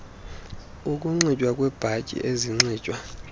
ukunxitywa kweebhatyi ezinxitywa